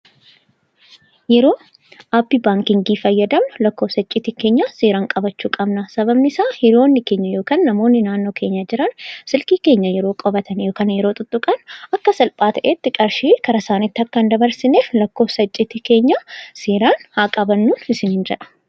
Yeroo Aappii baankii fayyadamnu lakkoofsa icciitii keenyaa seeraan qabachuu qabna. Sababni isaas, hiriyoonni keenya yookaan namoonni naannoo keenya jiran silkii keenya yeroo qabatanii fi yeroo tuttuqan, akka salphaa ta'etti qarshii gara isaaniitti akka hin dabarsineef lakkoofsa icciitii keenyaa seeraan haa qabannun isiniin jedha.